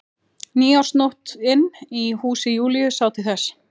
Nýársnóttin í húsi Júlíu sá til þess.